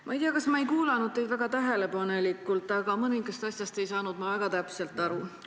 Ma ei tea, kas ma ei kuulanud teid väga tähelepanelikult, aga mõnest asjast ei saanud ma väga täpselt aru.